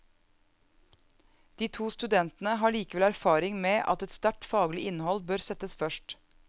De to studentene har likevel erfaring med at et sterkt faglig innhold bør settes først.